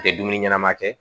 Tɛ dumuni ɲɛnama kɛ